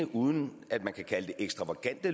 uden at man kan kalde dem ekstravagante